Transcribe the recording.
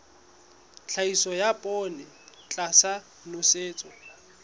tlhahiso ya poone tlasa nosetso